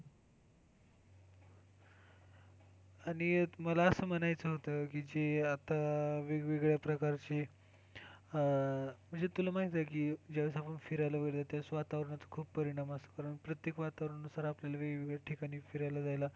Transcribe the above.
आणि आता मला असं म्हणायचं होत की जे आता वेगवेगळ्या प्रकारचे, म्हणजे तुला माहितीये की ज्या वेळेस आपण फिरायला वगैरे जातो त्या वेळेस वातावरणात खूप परिणाम असतात आणि प्रत्येक वातावरणानुसार आपल्याला वेगवेगळ्या ठिकाणी फिरायला जायला,